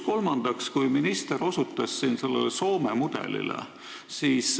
Kolmandaks, minister osutas siin Soome mudelile.